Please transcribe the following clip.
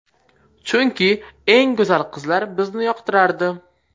Chunki, eng go‘zal qizlar bizni yoqtirardi.